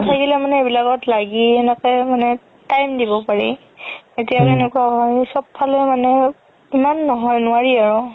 নাথাকিলেও মানে এইবিলাকত লাগি এনেকে মানে time দিব পাৰি এতিয়া চব ফালে ইমান নোৱাৰি আৰু